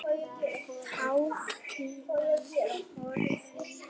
Táfýlan horfin.